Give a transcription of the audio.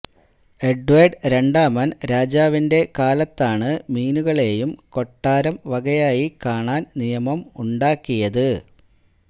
Edward രണ്ടാമൻ രാജാവിന്റെ കാലത്താണ് മീനുകളെയും കൊട്ടാരം വകയായി കാണാൻ നിയമം ഉണ്ടാക്കിയത്